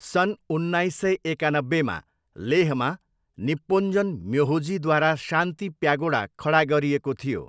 सन् उन्नाइस सय एकानब्बेमा लेहमा निप्पोन्जन म्योहोजीद्वारा शान्ति प्यागोडा खडा गरिएको थियो।